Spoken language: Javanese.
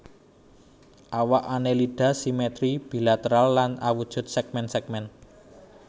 Awak Annelida simetri bilateral lan awujud sègmèn sègmèn